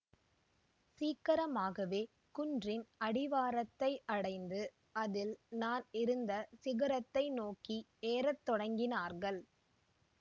சீக்கிரமாகவே குன்றின் அடிவாரத்தை அடைந்து அதில் நான் இருந்த சிகரத்தை நோக்கி ஏற தொடங்கினார்கள்